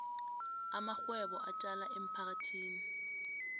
amarhwebo atjala emphakathini